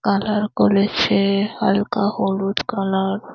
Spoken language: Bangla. কালার করেছে হালকা হলুদ কালার ।